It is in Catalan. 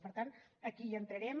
per tant aquí hi entrarem